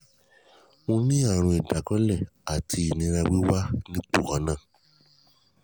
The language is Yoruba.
mo ní àrùn ìdákọ́lẹ̀ àti ìnira wíwà nípò kan náà